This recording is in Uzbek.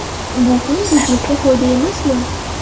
Bu ham budjetga foyda emasmi?